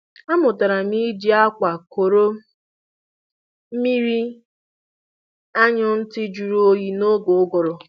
Amụtara m iji akwa kọrọ mmiri anyụ ntị jụrụ oyi n'oge ụgụrụ